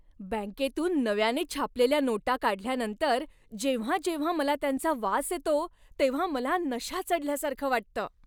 बँकेतून नव्याने छापलेल्या नोटा काढल्यानंतर जेव्हा जेव्हा मला त्यांचा वास येतो तेव्हा मला नशा चढल्यासारखं वाटतं.